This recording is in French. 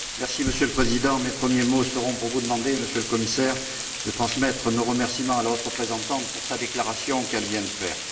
Monsieur le Président, mes premiers mots seront pour vous demander, Monsieur le Commissaire, de transmettre nos remerciements à la haute représentante pour la déclaration qu'elle vient de faire.